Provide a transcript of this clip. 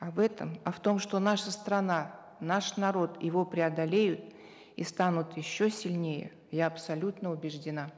а в этом а в том что наша страна наш народ его преодолеют и станут еще сильнее я абсолютно убеждена